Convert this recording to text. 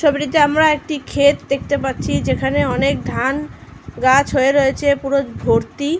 ছবিটিতে আমরা একটি খেত দেখতে পাচ্ছি। যেখানে অনেক ধান গাছ হয়ে রয়েছে পুরো ভর্তি।